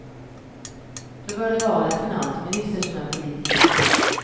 Då bör det vara en finansminister som är politiker.